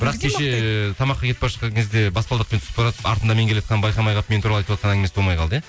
бірақ кеше тамаққа кетіп бара жатқан кезде баспалдақпен түсіп баратып артында мен келатқанын байқамай қалып мен туралы айтыватқан әңгімесі болмай қалды иә